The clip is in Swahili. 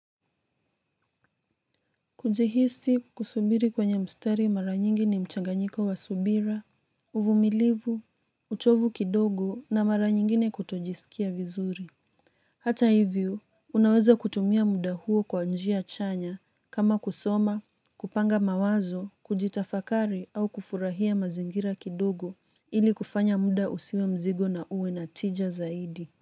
Kujihisi kusubiri kwenye mstari mara nyingi ni mchanganyiko wa subira, uvumilivu, uchovu kidogo na mara nyingine kutojisikia vizuri. Hata hivyo, unaweza kutumia muda huo kwa njia chanya kama kusoma, kupanga mawazo, kujitafakari au kufurahia mazingira kidogo ili kufanya muda usiwe mzigo na uwe na tija zaidi.